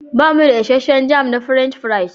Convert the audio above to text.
Bamu da isasshen jam na French fries.